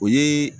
O ye